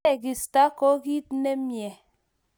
Tegisto ko kit nemye.